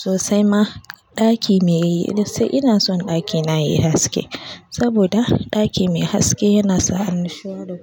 Sosai ma ɗaki me gaskiya ina son ɗakina yayi haske saboda ɗaki mai haske yana sa annashuwa da